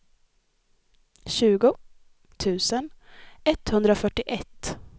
tjugo tusen etthundrafyrtioett